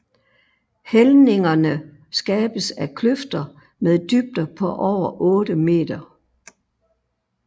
Hældningerne skabes af kløfter mmed dybder på over 8 meter